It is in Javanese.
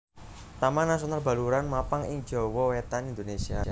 Taman Nasional Baluran mapan ing Jawa Wetan Indonésia